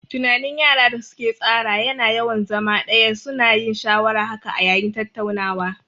Tunanin yara da su ke tsara ya na yawan zama ɗaya, su na yin shawaran haka a yayin tattaunawa